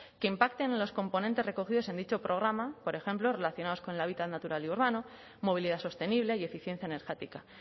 que impacten en los componentes recogidos en dicho programa por ejemplo relacionados con el hábitat natural y urbano movilidad sostenible y eficiencia energética